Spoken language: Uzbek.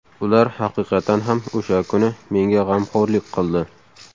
Ular haqiqatan ham o‘sha kuni menga g‘amxo‘rlik qildi.